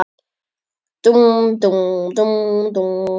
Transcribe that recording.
Dúmp, dúmp, dúmp, dúmp.